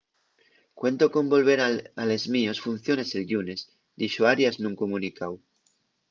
cuento con volver a les mios funciones el llunes” dixo arias nun comunicáu